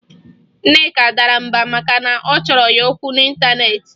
Nneka dara mbà maka na a chọrọ ya okwu n'ịntaneetị